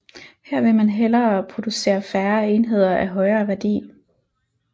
Her vil man hellere producere færre enheder af højere værdi